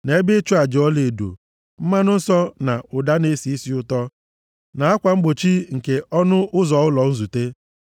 na ebe ịchụ aja ọlaedo, mmanụ nsọ na ụda na-esi isi ụtọ na akwa mgbochi nke ọnụ ụzọ ụlọ nzute,